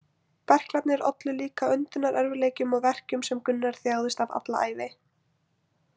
Berklarnir ollu líka öndunarerfiðleikum og verkjum sem Gunnar þjáðist af alla ævi.